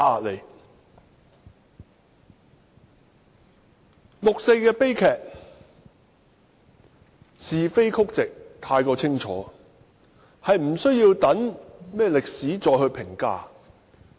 六四悲劇的是非曲直太過清楚，並無需要留待歷史再評價。